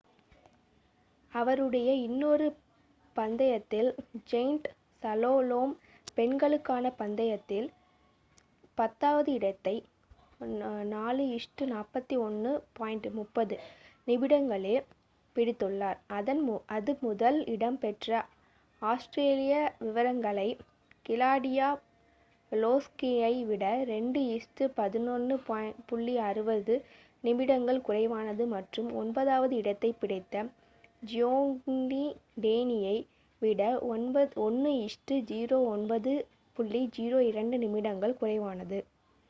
அவளுடைய இன்னொரு பந்தயத்தில் ஜெயண்ட் சலோலோம் பெண்களுக்கான பந்தயத்தில் பத்தாவது இடத்தை 4:41.30 நிமிடங்களில் பிடித்துள்ளார் அது முதல் இடம் பெற்ற ஆஸ்திரிய விரங்கனை கிளாடியா லோஸ்கியை விட 2:11.60 நிமிடங்கள் குறைவானது மற்றும் ஒன்பதாவது இடத்தை பிடித்த ஜியோங்யி டேனி யை விட 1:09.02 நிமிடங்கள் குறைவானது